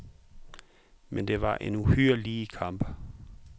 Men det var en uhyre lige kamp.